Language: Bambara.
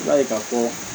I b'a ye k'a fɔ